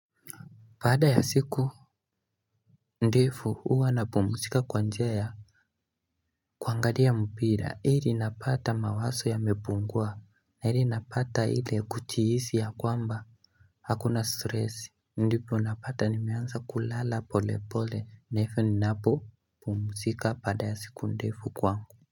Baada ya siku ndefu uwa na pumusika kwa njia ya kuangalia mpira ili napata mawaso ya mepungua na ili napata ile kuchihisi ya kwamba Hakuna stress ndipo napata nimeansa kulala pole pole naivyo ninapo Pumusika pada ya siku ndefu kwangu.